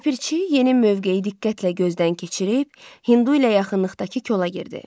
Ləpirçi yeni mövqeyi diqqətlə gözdən keçirib, hindu ilə yaxınlıqdakı kola girdi.